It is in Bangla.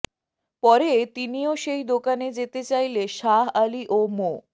পরে তিনিও সেই দোকানে যেতে চাইলে শাহ আলী ও মো